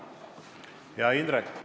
Hea Indrek!